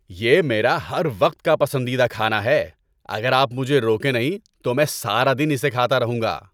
یہ میرا ہر وقت کا پسندیدہ کھانا ہے، اگر آپ مجھے روکیں نہیں تو میں سارا دن اسے کھاتا رہوں گا۔